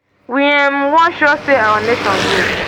we um wan show say our nation good